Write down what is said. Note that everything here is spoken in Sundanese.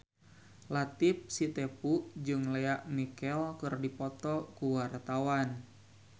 Latief Sitepu jeung Lea Michele keur dipoto ku wartawan